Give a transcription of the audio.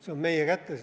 See on meie kätes.